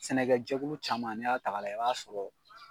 Sɛnɛkɛjɛkulu caman n'i y'a ta k'a layɛ i b'a sɔrɔ